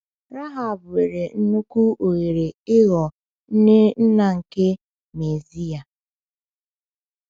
Rahab nwere nnukwu ohere ịghọọ nne nna nke Mesiya.